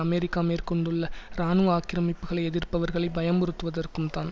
America மேற்கொண்டுள்ள இராணுவ ஆக்கிரமிப்புக்களை எதிர்ப்பவர்களை பயமுறுத்துவதற்கும் தான்